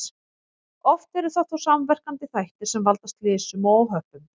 Oft eru það þó samverkandi þættir sem valda slysum og óhöppum.